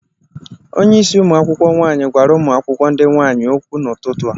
Onyeisi ụmụ akwụkwọ nwaanyị gwara ụmụ akwụkwọ ndị nwaanyị okwu n'ụtụtụ a.